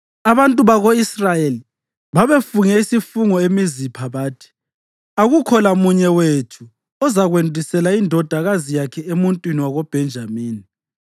Abantu bako-Israyeli babefunge isifungo eMizipha bathi, “Akukho lamunye wethu ozakwendisela indodakazi yakhe emuntwini wakoBhenjamini.”